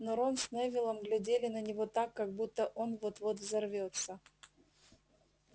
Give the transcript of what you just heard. но рон с невиллом глядели на него так как будто он вот-вот взорвётся